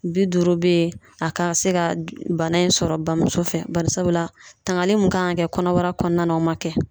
Bi duuru be yen , a ka se ka bana in sɔrɔ bamuso fɛ. Barisabula tangali min kan ka kɛ kɔnɔbara kɔnɔna na o ma kɛ.